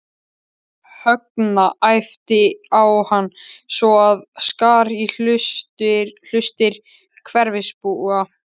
Högna, æpti á hann svo að skar í hlustir hverfisbúa.